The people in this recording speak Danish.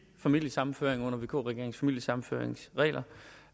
familiesammenføring under vk regeringens familiesammenføringsregler